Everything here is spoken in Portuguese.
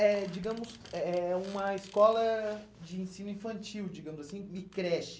Eh, digamos, é é uma escola de ensino infantil, digamos assim, de creche.